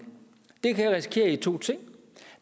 det kan resultere i to ting